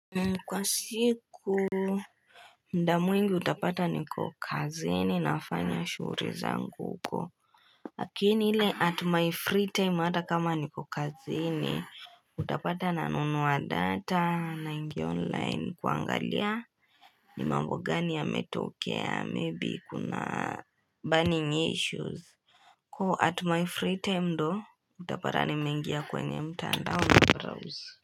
Kwa siku ndamu ingi utapata niko kazini nafanya shuri zangu huko lakini ile at my free time ata kama niko kazini utapata nanunua data na ingi online kuangalia ni mambo gani yametokea maybe kuna burning issues Ko at my free time ndo utapata ni mengia kwenye mta ndao na browse.